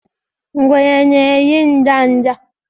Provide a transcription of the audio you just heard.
Ngwere na eri nda nda